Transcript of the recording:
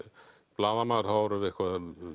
blaðamaður þá var eitthvað